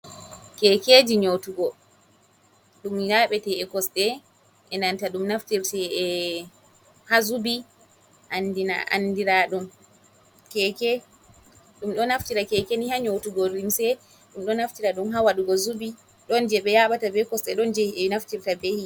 Keekeji nyootugo, ɗum yaaɓete e kosɗe, e nanta ɗum ɗo naftira haa zubi anndiraaɗum keeke. Ɗum ɗon naftira be keeke ni, haa nyootugo limse. Ɗum ɗo naftira ɗum haa waɗugo zubi, ɗon jey ɓe yaaɓata be kosɗe, ɗon jey naftirta be yiite.